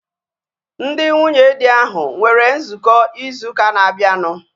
Ndị nwunye dị ahu nwere nzukọ ịzụ ụka na-abianu